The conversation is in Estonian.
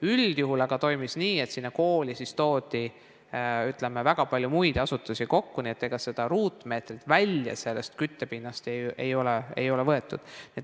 Üldjuhul aga toimus nii, et kooli toodi väga palju muid asutusi kokku, nii et ega ruutmeetreid küttepinnast välja ei ole võetud.